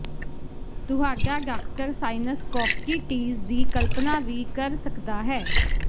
ਤੁਹਾਡਾ doctor sinus ਕੋਵਟੀਟੀਜ਼ ਦੀ ਕਲਪਨਾ ਵੀ ਕਰ ਸਕਦਾ ਹੈ